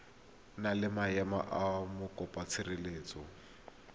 na le maemo a mokopatshireletso